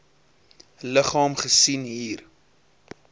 liggaam gesien hier